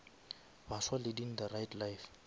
baswa leading the right life